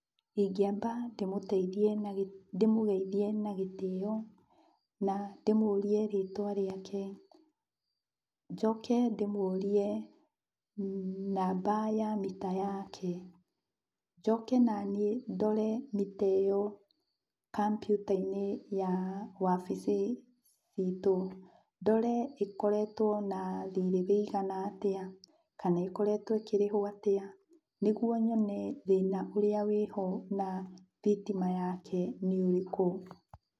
Ingĩamba ndĩmũteithie na ndĩmũgeithie na gĩtĩo, na ndĩmũrie rĩtwa rĩake. Njoke ndĩmũrie namba ya mita yake. Njoke naniĩ ndore mita ĩyo kompyuta-inĩ ya wabici citu. Ndore ĩkoretwo na thirĩ wĩigana atĩa, kana ĩkoretwo ĩkĩrĩhwo atĩa, nĩguo nyone thĩna ũrĩa wĩho na thitima yake nĩ ũrĩkũ.